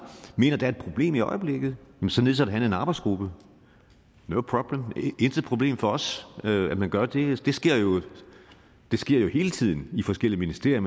mener der er et problem i øjeblikket så nedsætter han en arbejdsgruppe no problem intet problem for os at man gør det det sker jo hele tiden i forskellige ministerier